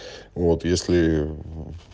вот если